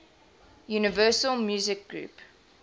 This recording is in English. universal music group